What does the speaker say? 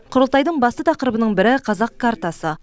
құрылтайдың басты тақырыбының бірі қазақ картасы